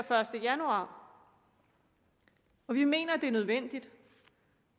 første januar vi mener at det er nødvendigt